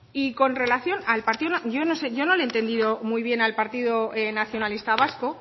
y con relación yo no sé yo no le he entendido muy bien al partido nacionalista vasco